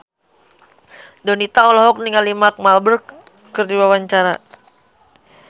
Donita olohok ningali Mark Walberg keur diwawancara